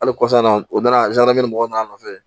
Hali kɔfɛ an na u nana mɔgɔw nana nɔfɛ